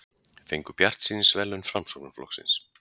Fengu bjartsýnisverðlaun Framsóknarflokksins